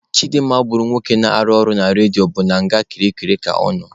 Chidimma gburu nwoke na-arụ ọrụ na redio bụ na nga kirikiri ka ọ nọ.